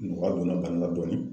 Nɔgɔya donna dɔɔnin